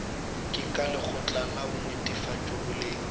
ke lekgotla la netefatšo boleng